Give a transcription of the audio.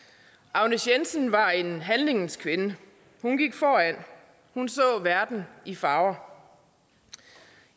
agnes jensen var en handlingens kvinde hun gik foran hun så verden i farver